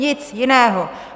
Nic jiného.